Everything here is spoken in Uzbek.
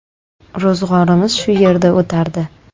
Ro‘zg‘orimiz shu yerda o‘tardi.